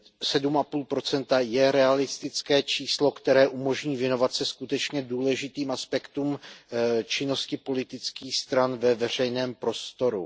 7,5 je realistické číslo, které umožní věnovat se skutečně důležitým aspektům činnosti politických stran ve veřejném prostoru.